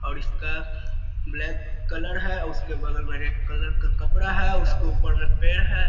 और इसका black colour है | उसके बगल में रेड कलर का कपड़ा है | उसके ऊपर में पेड़ है |